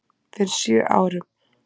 Fyrir sjö árum.